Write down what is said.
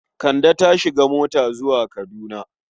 Kande ta shiga mota zuwa Kaduna.